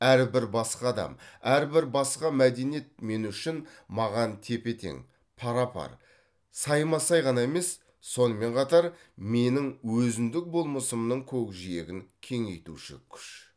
әрбір басқа адам әрбір басқа мәдениет мен үшін маған тепе тең пара пар сайма сай ғана емес сонымен қатар менің өзіндік болмысымның көкжиегін кеңейтуші күш